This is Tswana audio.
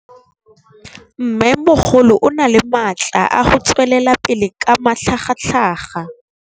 Mmêmogolo o na le matla a go tswelela pele ka matlhagatlhaga.